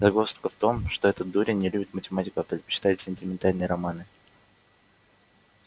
загвоздка в том что этот дурень не любит математику а предпочитает сентиментальные романы